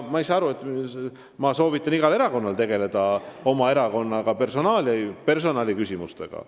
Ma soovitan igal erakonnal tegelda oma erakonna personaliküsimustega.